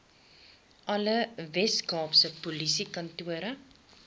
alle weskaapse polisiekantore